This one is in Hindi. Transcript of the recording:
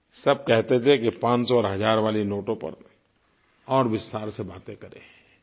सब कहते थे कि 500 और 1000 वाले नोटों पर और विस्तार से बातें करें